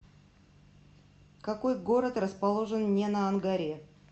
какой город расположен не на ангаре